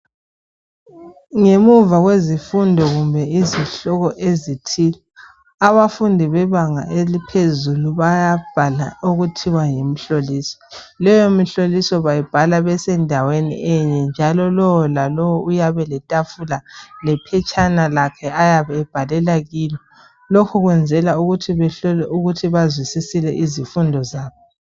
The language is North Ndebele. Ngemuva kwezifundo kumbe izihloko ezithile abafundi bebanga eliphezulu bayabhala okuthiwa yimhloliso leyo mihloliso bayibhala besendaweni enye njalo lo lalowo uyabe eletafula yakhe lephetshana lakhe ayabe ebhalela kulo lokhu kwenzela ukuthi behlolwe ukuthi bazwisisile izifundo zabo.